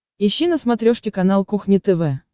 ищи на смотрешке канал кухня тв